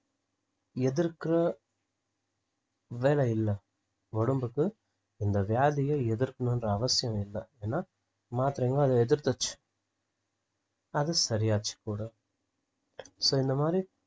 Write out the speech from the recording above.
எதிர்க்குற வேலையில்ல உடம்புக்கு அந்த வியாதிய எதிர்க்கணுன்ற அவசியம் இல்ல ஏந்னா மாத்திரைங்களும் அதை எதிர்த்துருச்சு அது சரியாச்சு கூட so இந்தமாதிரி